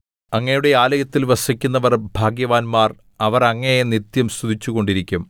അങ്ങയുടെ ആലയത്തിൽ വസിക്കുന്നവർ ഭാഗ്യവാന്മാർ അവർ അങ്ങയെ നിത്യം സ്തുതിച്ചുകൊണ്ടിരിക്കും സേലാ